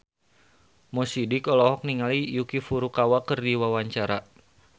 Mo Sidik olohok ningali Yuki Furukawa keur diwawancara